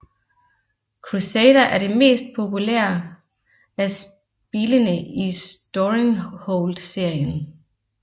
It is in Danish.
Crusader er det mest populær af spilene i Storenghold serien